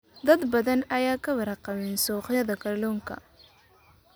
Dad badan ayaan ka warqabin suuqyada kalluunka.